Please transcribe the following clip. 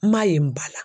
N m'a ye n ba la